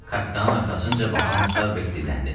Kapitan arxasınca baxan Starbek dilləndi: